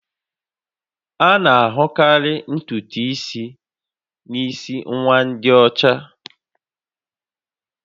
A na-ahụkarị ntutu isi n'isi nwa ndị ọcha